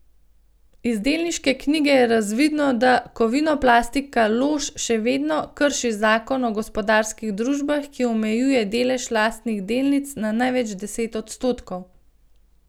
Iz delniške knjige je razvidno, da Kovinoplastika Lož še vedno krši zakon o gospodarskih družbah, ki omejuje delež lastnih delnic na največ deset odstotkov.